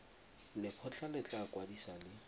lekgotlha le tla kwadisa le